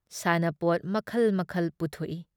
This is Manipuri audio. ꯁꯥꯟꯅꯄꯣꯠ ꯃꯈꯜ ꯃꯈꯜ ꯄꯨꯊꯣꯛꯏ ꯫